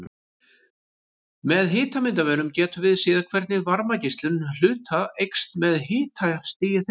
Með hitamyndavélum getum við séð hvernig varmageislun hluta eykst með hitastigi þeirra.